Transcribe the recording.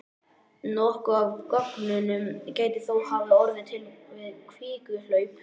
Nokkuð af göngunum gæti þó hafa orðið til við kvikuhlaup.